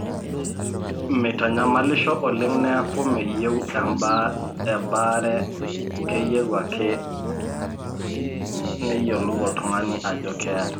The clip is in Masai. mmeitanyamalisho oleng neeku meyieu ebaare keyieu ake neyiolou oltungani ajo keeta